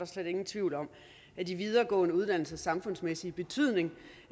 slet ingen tvivl om at de videregående uddannelsers samfundsmæssige betydning